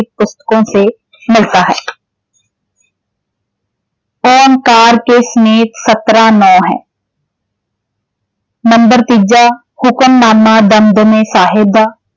ਪੁਸਤਕੋਂ ਸੇ ਮਿਲਤਾ ਹੈ ਨੰਬਰ ਤੀਜਾ ਹੁਕਮਨਾਮਾ ਦਮਦਮੇ ਸਾਹਿਬ ਦਾ